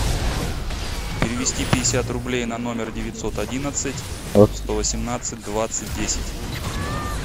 перевести пятьдесят рублей на номер девятьсот одиннадцать сто восемнадцать двадцать десять